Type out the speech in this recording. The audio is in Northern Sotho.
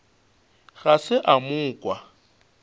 ga se a mo kwa